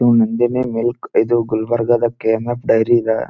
Nandini milk ಇದು ಗುಲ್ಬರ್ಗದ K M F dairy ಅದ --